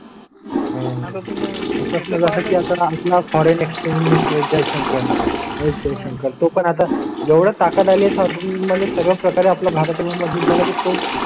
आतून कसं? की आता आम्हाला फॉरेन एक्स्चेंज मिनिस्टर जयशंकर आहे. त्या नं करतो पण आता एवढी ताकद आहे म्हणजे सर्व प्रकारे आपला भारत मध्ये झाला की तो